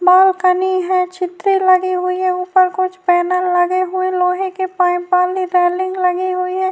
بال کنی ہے چھتری لگے ہوئے ہیں اوپر کچھ پینل لگے ہوئے ہیں لوہے کے پائپ والی لگی ہوئی ہے -